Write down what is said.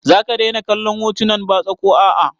Za ka daina kallon hotunan batsa ko a a?